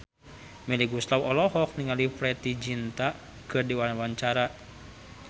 Melly Goeslaw olohok ningali Preity Zinta keur diwawancara